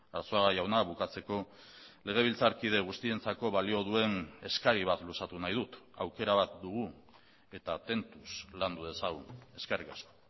arzuaga jauna bukatzeko legebiltzarkide guztientzako balio duen eskari bat luzatu nahi dut aukera bat dugu eta tentuz landu dezagun eskerrik asko